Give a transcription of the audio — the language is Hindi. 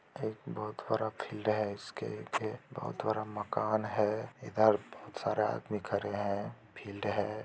एक बोहोत हरा फील्ड है इसके के बोहोत बरा मकान है इधर बोहोत सारा आदमी खरे है फील्ड है।